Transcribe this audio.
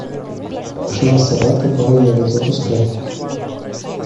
шла собака по роялю запускай